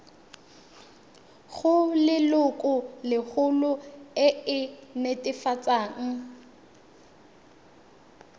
go lelokolegolo e e netefatsang